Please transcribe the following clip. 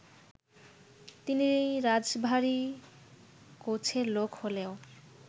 তিনি রাশভারী গোছের লোক হলেও